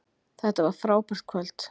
Þetta var frábært kvöld